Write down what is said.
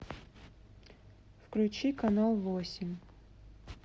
включи канал восемь